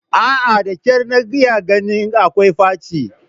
A'a, da kyar na iya ganin ko akwai faci